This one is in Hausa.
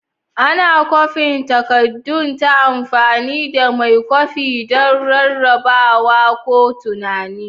Ana kwafin takaddun ta amfani da mai kwafi don rarrabawa ko tunani.